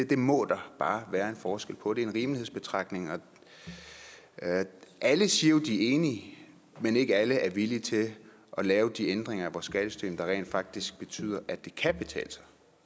det må der bare være en forskel på det er en rimelighedsbetragtning og alle siger jo at de er enige men ikke alle er villige til at lave de ændringer i vores skattesystem der rent faktisk betyder at det